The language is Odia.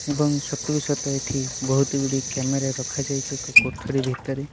ଏବଂ ସତୁକୁ ସତ ଏଠି ବୋହୁତଗୁଡିର କ୍ୟାମେରା ରଖାଯାଇଚି ଏକ କୋଠରୀ ଭିତରେ।